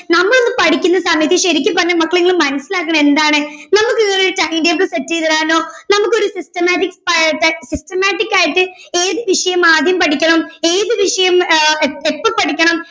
നമ്മളൊന്നും പഠിക്കുന്ന സമയത്ത്‌ ശരിക്കു പറഞ്ഞ മക്കളെ ഇങ്ങള് മനസ്സിലാക്കണം എന്താണ് നമ്മുക്ക് ഇതുപോലെ ഒരു timetable set ചെയ്ത് തരാനോ നമ്മുക്ക് ഒരു systematic systematic ആയിട്ട് ഏത് വിഷയം ആദ്യം പഠിക്കണം ഏത് വിഷയം ആഹ് അഹ് എപ്പോ പഠിക്കണം